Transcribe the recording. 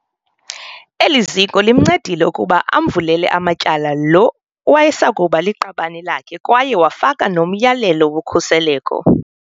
Eli ziko limncedile ukuba amvulele amatyala lo wayesakuba liqabane lakhe kwaye wafaka nomyalelo wokhuseleko.